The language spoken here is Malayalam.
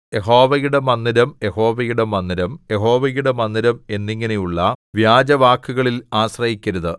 യഹോവയുടെ മന്ദിരം യഹോവയുടെ മന്ദിരം യഹോവയുടെ മന്ദിരം എന്നിങ്ങനെയുള്ള വ്യാജവാക്കുകളിൽ ആശ്രയിക്കരുത്